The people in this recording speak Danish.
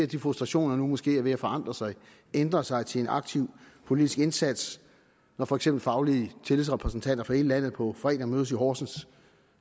de frustrationer nu måske er ved at forandre sig ændre sig til en aktiv politisk indsats når for eksempel faglige tillidsrepræsentanter fra hele landet på fredag mødes i horsens